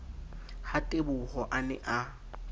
ha teboho a ne a